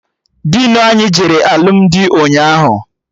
Dinu anyị jere alụmdi ụnyaahụ